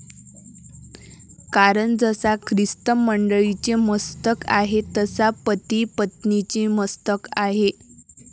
कारण जसा ख्रिस्त मंडळीचे मस्तक आहे तसा पति पत्नीचे मस्तक आहे.